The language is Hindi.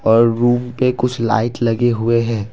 और रूम पे कुछ लाइट लगे हुए हैं।